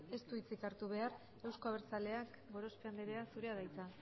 ez du hitzik hartu behar euzko abertzaleak gorospe andrea zurea da hitza